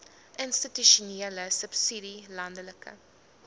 institusionele subsidie landelike